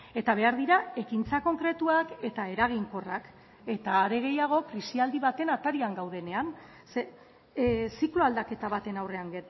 eta behar dira ekintza konkretuak eta eraginkorrak eta are gehiago krisialdi baten atarian gaudenean ze ziklo aldaketa baten aurrean